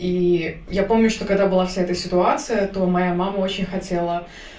и я помню что когда была вся эта ситуация то моя мама очень хотела